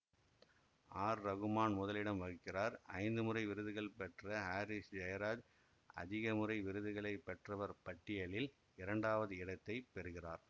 R Rahman முதலிடம் வகிக்கிறார் ஐந்து முறை விருதுகள் பெற்ற ஹாரிஸ் ஜயராஜ் அதிகமுறை விருதுகளை பெற்றவர் பட்டியலில் இரண்டாவது இடத்தை பெறுகிறார்